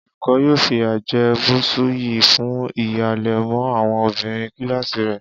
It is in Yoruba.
Olùkó̩ yóò fìyà je̩ Bùsúyì fún híhalè̩ mó̩ àwo̩n obìnrin kíláàsì rè̩